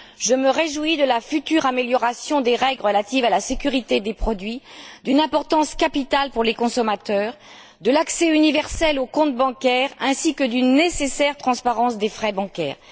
Je me réjouis de la future amélioration des règles relatives à la sécurité des produits, d'une importance capitale pour les consommateurs, de l'accès universel aux comptes bancaires ainsi que d'une nécessaire transparence des frais bancaires.